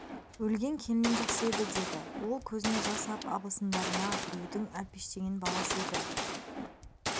өлген келінім жақсы еді деді ол көзіне жас ап абысындарына біреудің әлпештеген баласы еді